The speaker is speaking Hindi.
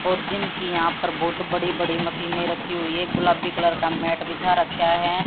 और जिम की यहां पर बहुत बड़ी बड़ी मशीने रखी हुई है गुलाबी कलर का मैट बिछा रख्या है।